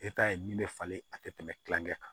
min bɛ falen a tɛ tɛmɛ kilankɛ kan